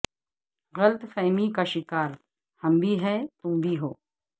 غلط فہمی کا شکار ہم بھی ہیں تم بھی ہو